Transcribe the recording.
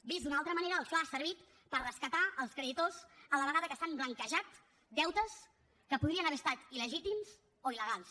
vist d’una altra manera el fla ha servit per rescatar els creditors a la vegada que s’han blanquejat deutes que podrien haver estat il·legítims o il·legals